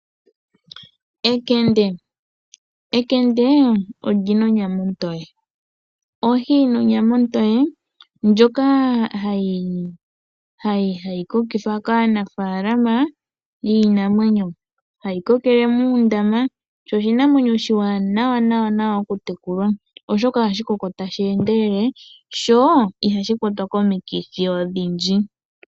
Enkende olina onyama ontoye, ohi yina onyama ontoye ndjoka hayi kokithwa kaanafalama yiinamwenyo, hayi kokele muundama sho oshinamwenyo oshiwanawa okutekulwa, oshoka ohashi koko tashi endelele sho ihashi kwatwa komikithi odhindji.